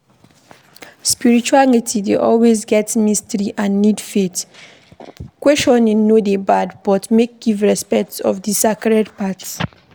Spirituality dey always get mystery and need faith, questioning no dey bad but make give respect to di sacred parts